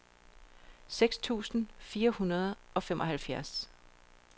seks tusind fire hundrede og femoghalvfjerds